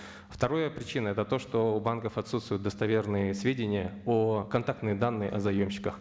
второе причина это то что у банков отсутствуют достоверные сведения о контактные данные о заемщиках